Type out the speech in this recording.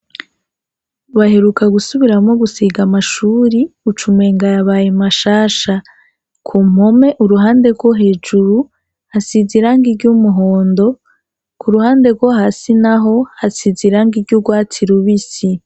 Baheruka gusubiramwo gusiga amashuri ucumenga yabaye mashasha, ku mpome uruhande rwo hejuru hasize irangi ry'umuhondo, ku ruhande rwo hasi naho hasize irangi ry'urwatsi rubisi.